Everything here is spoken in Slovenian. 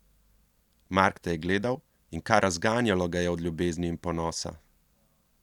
Mark te je gledal in kar razganjalo ga je od ljubezni in ponosa.